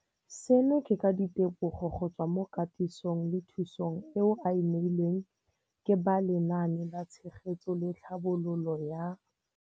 Seno ke ka ditebogo go tswa mo katisong le thu song eo a e neilweng ke ba Lenaane la Tshegetso le Tlhabololo ya.